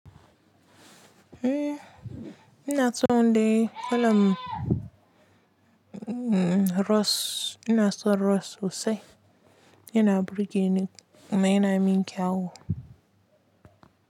Eh, ina tsawon da wala mmm Ross, ina so Ross Husse yana burge ne kuma yana min kyau.